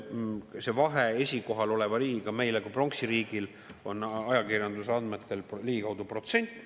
See vahe esikohal oleva riigiga meil kui pronksiriigil on ajakirjanduse andmetel ligikaudu protsent.